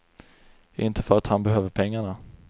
Inte för att han behöver pengarna.